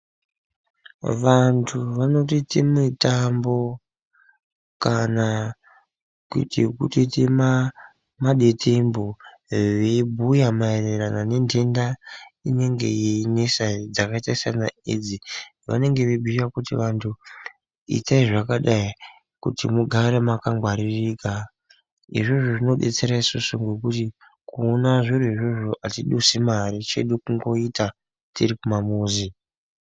Vantu vanoitote mitambo kana kutoite madetembo veibhuya maererano nenhenda inenge yeinesa dzakaita sanaAIDS vanengeveibhuya kuti vantu itai zvakadai kuti mugare makangwaririka izvozvo zvinodetsera isusu ngokuti kuona zviro izvozvo atiduse mare chedu kungoita tiri kumamuzi.